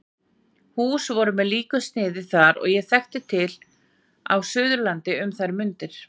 Hús voru með líku sniði þar, sem ég þekkti til á Suðurlandi um þær mundir.